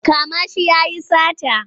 Kama shi ya yi sata!